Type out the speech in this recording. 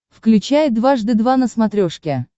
включай дважды два на смотрешке